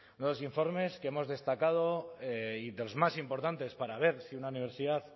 los informes que hemos destacado y de los más importantes para ver si una universidad